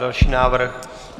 Další návrh.